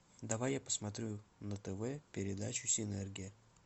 давай я посмотрю на тв передачу синергия